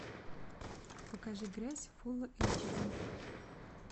покажи грязь фул эйч ди